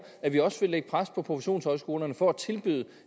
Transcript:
at vi også vil lægge pres på professionshøjskolerne for at tilbyde